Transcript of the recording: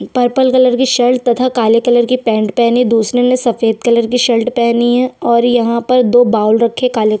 purple colour की shirt तथा काले कलर की पैंट पेहनी दूसरे ने सफ़ेद कलर की शर्ट पेहनी हैं और यहाँ पर दो बावल रखे काले--